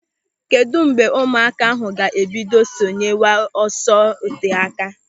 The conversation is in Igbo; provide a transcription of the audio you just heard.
Kedụ mgbe ụmụaka ahụ ga-ebido sonyewe n'ọsọ oteáká?